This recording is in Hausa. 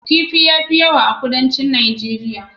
Kifi ya fi yawa a Kudancin Najeriya.